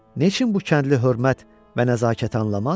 Neçin bu kəndli hörmət və nəzakət anlamaz?